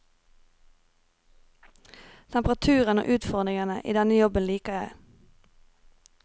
Temperaturen og utfordringene i denne jobben liker jeg.